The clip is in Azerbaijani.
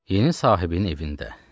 Yeni sahibin evində.